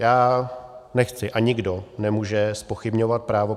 Já nechci, a nikdo nemůže zpochybňovat právo